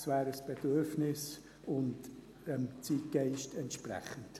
Es wäre ein Bedürfnis und dem Zeitgeist entsprechend.